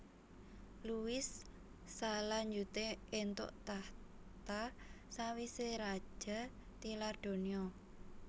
Louis salanjuté éntuk tahta sawisé raja tilar donya